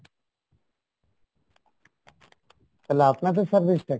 তালে আপনাদের service টা কী?